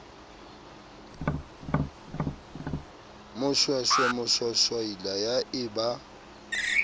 moshweshwe moshwashwaila ya e ba